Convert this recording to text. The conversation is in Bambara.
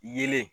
Yelen